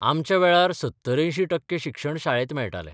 आमच्या वेळार 70-80 टक्के शिक्षण शाळेत मेळटालें.